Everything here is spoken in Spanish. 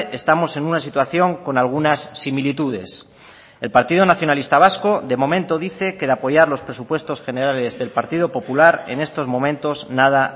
estamos en una situación con algunas similitudes el partido nacionalista vasco de momento dice que de apoyar los presupuestos generales del partido popular en estos momentos nada